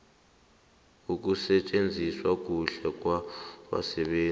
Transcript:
ukusetjenziswa kuhle kwabasebenzi